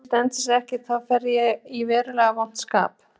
Ef hún stendur sig ekki, þá fer ég í verulega vont skap.